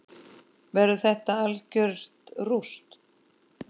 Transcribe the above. Verður þetta algjört rúst???